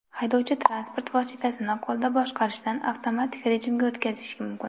Haydovchi transport vositasini qo‘lda boshqarishdan avtomatik rejimga o‘tkazishi mumkin.